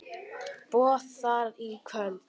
Boð þar í kvöld.